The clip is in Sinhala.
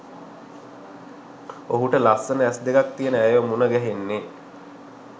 ඔහුට ලස්සන ඇස් දෙකක් තියෙන ඇයව මුණගැහෙන්නේ